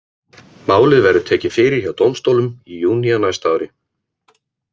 Málið verður tekið fyrir hjá dómstólum í júní á næsta ári.